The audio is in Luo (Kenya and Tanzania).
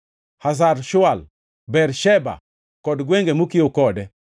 Hazar Shual, Bersheba kod gwenge mokiewo kode,